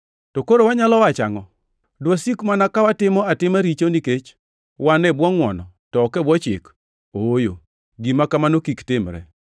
To koro wanyalo wacho angʼo? Dwasik mana ka watimo atima richo nikech wan e bwo ngʼwono, to ok e bwo Chik? Ooyo, gima kamano kik timre!